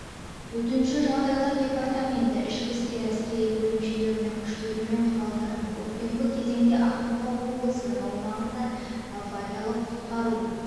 төтенше жағдайлар департаменті ішкі істер әскери бөлімшелерінің күштері мен құралдарын көктемгі кезеңде ақмола облысының аумағында авариялық-құтқару